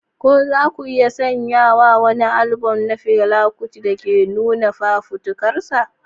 Ko za ku iya sanya wa wani albam na Fela Kuti da ke nuna fafutukarsa?